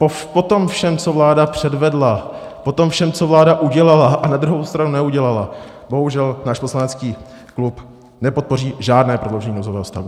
Po tom všem, co vláda předvedla, po tom všem, co vláda udělala a na druhou stranu neudělala, bohužel náš poslanecký klub nepodpoří žádné prodloužení nouzového stavu.